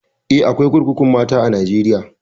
Eh, akwai kurkukun mata a Najeriya.